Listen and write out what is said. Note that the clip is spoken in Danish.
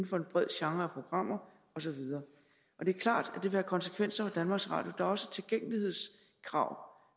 for en bred genre af programmer og så videre det er klart at det vil have konsekvenser for danmarks radio der er også tilgængelighedskrav